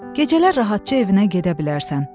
Gecələr rahatça evinə gedə bilərsən.